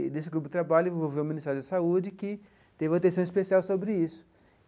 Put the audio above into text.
E nesse grupo de trabalho envolveu o Ministério da Saúde, que teve uma atenção especial sobre isso.